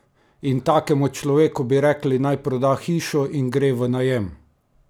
In takemu človeku bi rekli, naj proda hišo in gre v najem?